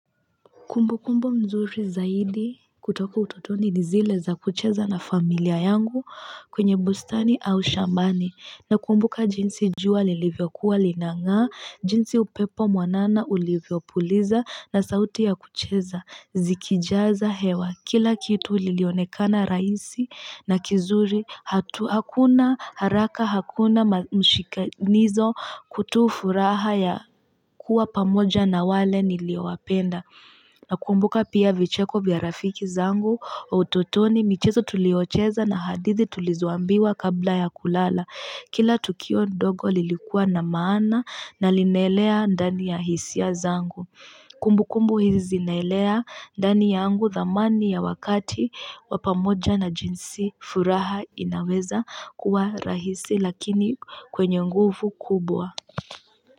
Kumbu kumbu mzuri zaidi kutoka utotoni ni zile za kucheza na familia yangu kwenye bustani au shambani. Nakumbuka jinsi jua lilivyokuwa lina ng'aa, jinsi upepo mwanana ulivyopuliza na sauti ya kucheza. Zikijaza hewa kila kitu lilionekana rahisi na kizuri hatua hakuna haraka hakuna mshikanizo kutoa furaha ya kuwa pamoja na wale niliowapenda. Nakumbuka pia vicheko vya rafiki zangu wa utotoni michezo tuliocheza na hadithi tulizoambiwa kabla ya kulala. Kila tukio ndogo lilikua na maana na linaelea ndani ya hisia zangu. Kumbukumbu hizi zinaelea ndani yangu thamani ya wakati wa pamoja na jinsi furaha inaweza kuwa rahisi lakini kwenye nguvu kubwa.